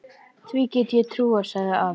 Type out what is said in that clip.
Því get ég trúað, sagði afi.